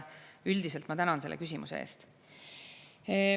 Üldiselt ma tänan selle küsimuse eest.